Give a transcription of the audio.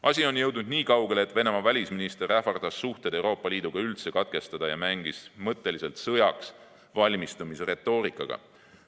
Asi on jõudnud nii kaugele, et Venemaa välisminister ähvardas suhted Euroopa Liiduga üldse katkestada ja mängis mõtteliselt sõjaks valmistumise retoorikaga.